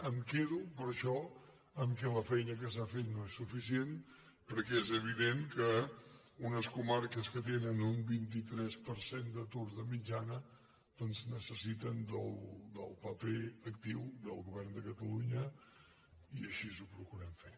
em quedo per això que la feina que s’ha fet no és suficient perquè és evident que unes comarques que tenen un vint tres per cent d’atur de mitjana doncs necessiten el paper actiu del govern de catalunya i així ho procurem fer